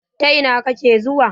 Ta ina kake zuwa?